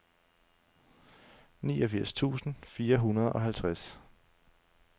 niogfirs tusind fire hundrede og halvtreds